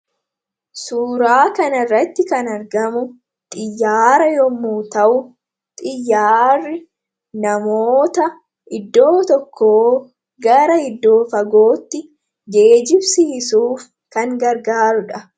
Suuraa kana irratti kan argamu xiyyaara yommu ta'u xiyyaarri namoota iddoo tokko gara iddoo fagootti geejjibsiisuuf kan gargaarudha.